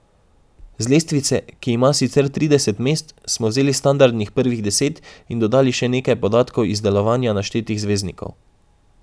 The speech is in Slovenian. Z lestvice, ki ima sicer trideset mest, smo vzeli standardnih prvih deset in dodali še nekaj podatkov iz delovanja naštetih zvezdnikov.